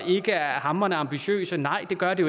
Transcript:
ikke er hamrende ambitiøse nej det gør det